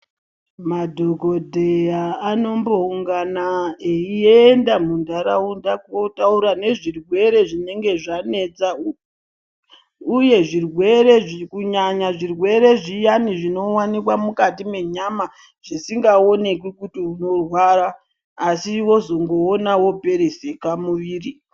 Madhokodheya anomboungana eyiyenda mundaraunda kotaura nezvirwere zvinenge zvanetsa, uye zvirwere izvi kunyanya zvirwere zviyani zvinowanikwa mukati menyama zvisingaonekwi kuti unorwara asi wozongoona woperezeka muviri.